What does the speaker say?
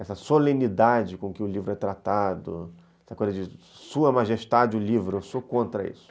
essa solenidade com que o livro é tratado, essa coisa de sua majestade o livro, eu sou contra isso.